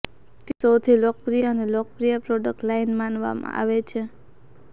તે સૌથી લોકપ્રિય અને લોકપ્રિય પ્રોડક્ટ લાઇન માનવામાં આવે છે